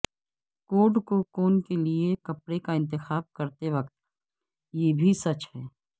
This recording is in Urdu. کوٹ کوکون کے لئے کپڑے کا انتخاب کرتے وقت یہ بھی سچ ہے